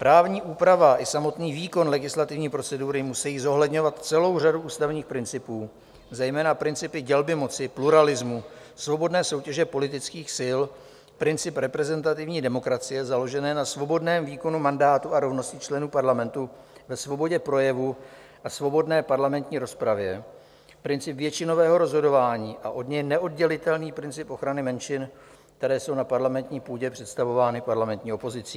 Právní úprava i samotný výkon legislativní procedury musejí zohledňovat celou řadu ústavních principů, zejména principy dělby moci, pluralismu, svobodné soutěže politických sil, princip reprezentativní demokracie založené na svobodném výkonu mandátu a rovnosti členů parlamentu ve svobodě projevu a svobodné parlamentní rozpravě, princip většinového rozhodování a od něj neoddělitelný princip ochrany menšin, které jsou na parlamentní půdě představovány parlamentní opozicí.